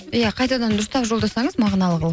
иә қайтадан дұрыстап жолдасаңыз мағыналы қылып